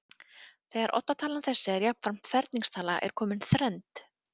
þegar oddatalan þessi er jafnframt ferningstala er komin þrennd